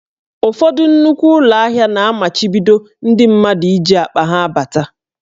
Ụfọdụ nnukwu ụlọ ahịa na-amachibido ndị mmadụ iji akpa ha abata